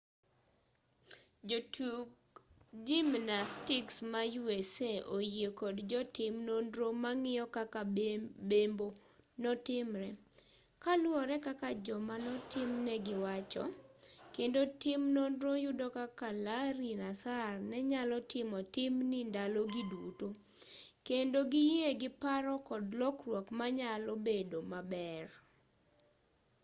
jotug gimnastiks ma usa oyie kod jotim nonro mang'iyo kaka bembo notimre kaluwore kaka jomanotimnegi wacho kendo tim nonro yudo kaka larry nassar nenyalo timo timni ndalo gi duto kendo giyie gi paro kod lokruok manyalo bedo maber